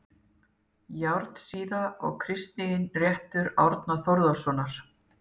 járnsíða og kristinréttur árna þórarinssonar